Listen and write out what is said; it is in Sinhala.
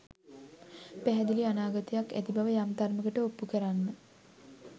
පැහැදිලි අනාගතයක් ඇති බව යම් තරමකට ඔප්පු කරන්න